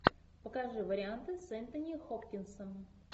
покажи варианты с энтони хопкинсом